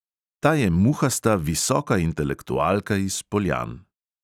Ta je muhasta visoka intelektualka iz poljan.